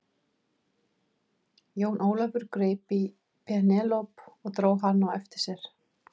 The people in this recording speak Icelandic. Jón Ólafur greip í Penélope og dró hana á eftir sér.